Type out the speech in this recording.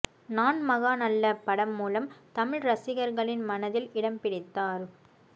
நான் மகான் அல்ல படம் மூலம் தமிழ் ரசிகர்களின் மனதில் இடம்பிடித்தார்